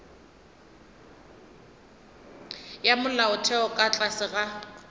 ya molaotheo ka tlase ga